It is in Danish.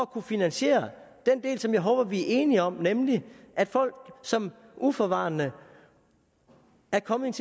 kunne finansiere den del som jeg håber vi er enige om nemlig at folk som uforvarende er kommet